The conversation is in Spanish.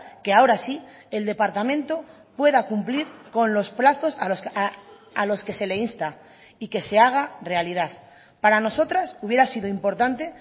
que ahora sí el departamento pueda cumplir con los plazos a los que se le insta y que se haga realidad para nosotras hubiera sido importante